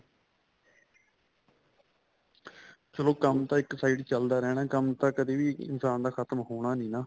ਚਲੋ ਕੰਮ ਤਾਂ ਇੱਕ side ਚੱਲਦਾ ਰਹਿਣਾ ਕੰਮ ਤਾਂ ਕਦੀ ਵੀ ਇਨਸ਼ਾਨ ਦਾ ਖ਼ਤਮ ਹੋਣਾ ਨਹੀਂ ਨਾ